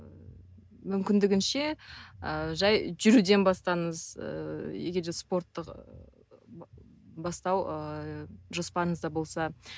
ыыы мүмкіндігінше ыыы жай жүруден бастаңыз ыыы егер де спортты бастау ыыы жоспарыңызда болса